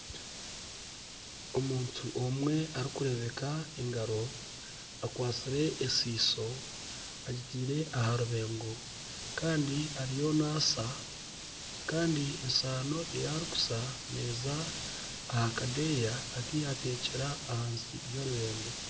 Omuntu omwe arikurebeka engaro akwastire ensiso agitiire aha rubengo kandi ariyo naasa Kandi esaano eyine arikuza neeza aha kadeeya aku yateeka ahansi y'orubengo